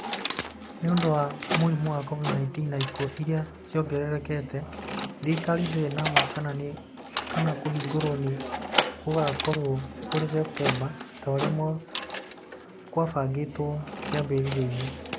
Nĩ ũndũ wa mũrimũ wa COVID-19 na ikuũ iria ciongererekete, thirikari ndĩrĩ na ma kana kũhingũrwo nĩ gũgakorũo kũrĩ Septemba ta ũrĩa kwabangĩtwo kĩambĩrĩriainĩ.